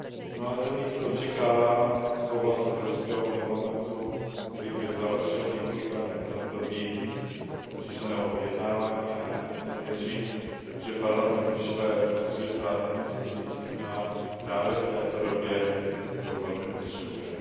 V mnoha zemích se očekává souhlas Evropského parlamentu, který by završil několikaleté období obtížného vyjednávání, a já pevně věřím, že Parlament vyšle do světa pozitivní signál, který právě v této době velmi potřebujeme.